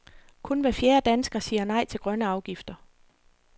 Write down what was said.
Kun hver fjerde dansker siger nej til grønne afgifter.